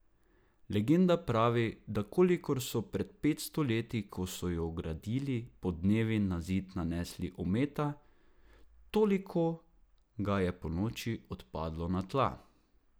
Legenda pravi, da kolikor so pred petsto leti, ko so jo gradili, podnevi na zid nanesli ometa, toliko ga je ponoči odpadlo na tla.